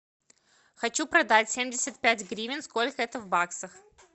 хочу продать семьдесят пять гривен сколько это в баксах